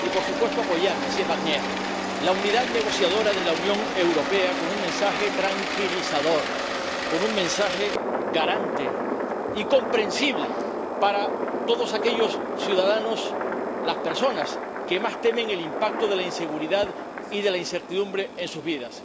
Y, por supuesto, apoyar, señor Barnier, la unidad negociadora de la Unión Europea con un mensaje tranquilizador, con un mensaje garante y comprensible para todos los ciudadanos, las personas que más temen el impacto de la inseguridad y de la incertidumbre en sus vidas.